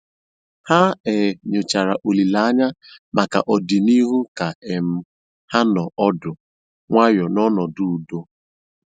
Ha um nyòchàra òlìlè ànyá maka ọ̀dị̀nihú kà um ha nọ̀ ọ́dụ́ nwayọ́ ná ọnọ́dụ́ ùdò.